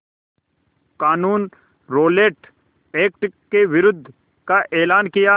क़ानून Rowlatt Act के विरोध का एलान किया